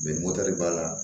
mɔtɛri b'a la